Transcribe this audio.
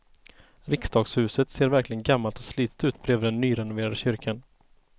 Riksdagshuset ser verkligen gammalt och slitet ut bredvid den nyrenoverade kyrkan.